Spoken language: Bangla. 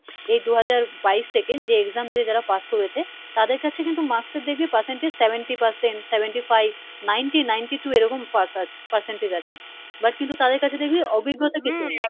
এই দু'হাজার বাইশ থেকে যে exam দিয়ে যারা pass করেছে তাদের কাছে কিন্তু marks এর দেখবি percentage seventy percent, seventy five, ninety, ninety two এরকম pars~ আছে, percentage আছে but কিন্তু তাদের কাছে দেখবি অভিজ্ঞতা কিছু নেই,